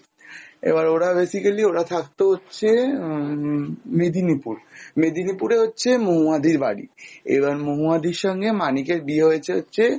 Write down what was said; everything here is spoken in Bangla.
এবার ওরা basically ওরা থাকতো হচ্ছে আহ উম মেদিনীপুর, মেদিনীপুরে হচ্ছে মহুয়াদির বাড়ি, এবার মহুয়াদির সঙ্গে বিয়ে হয়েছে হচ্ছে